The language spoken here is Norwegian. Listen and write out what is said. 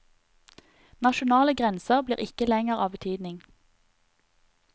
Nasjonale grenser blir ikke lenger av betydning.